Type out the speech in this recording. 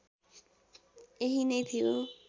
यही नै थियो